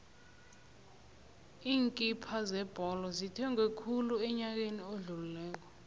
iinkipha zebholo zithengwe khulu enyakeni odlulileko